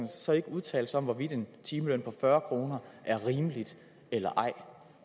så ikke udtale sig om hvorvidt en timeløn på fyrre kroner er rimelig eller ej